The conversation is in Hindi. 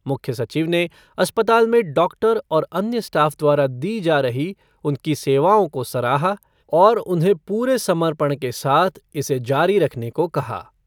मुख्य सचिव ने अस्पताल में डॉक्टर और अन्य स्टाफ़ द्वारा दी जा रही उनकी सेवाओं को सराहा और उन्हें पूरे सम्पर्ण के साथ इसे जारी रखने को कहा।